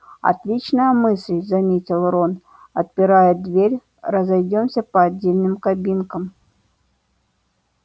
отличная мысль заметил рон отпирая дверь разойдёмся по отдельным кабинкам